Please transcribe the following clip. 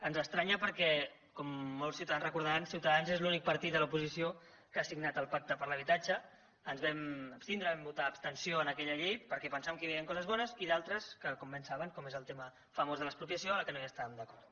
ens estranya perquè com molts ciutadans recordaran ciutadans és l’únic partit de l’oposi ció que ha signat el pacte per l’habitatge ens vam abstindre vam votar abstenció en aquella llei perquè pensàvem que hi havien coses bones i altres com bé saben com és el tema famós de l’expropiació amb què no es tàvem d’acord